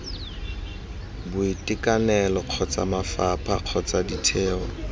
boitekanelo kgotsa mafapha kgotsa ditheo